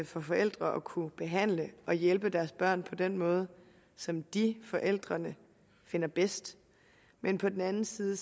for forældre at kunne behandle og hjælpe deres børn på den måde som de forældrene finder bedst men på den anden side